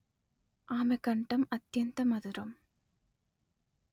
అమె కంఠం అత్యంత మధురం